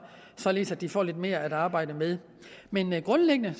således at de får lidt mere at arbejde med men men grundlæggende